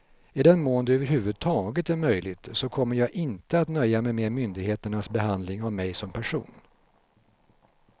I den mån det över huvud taget är möjligt så kommer jag inte att nöja mig med myndigheternas behandling av mig som person.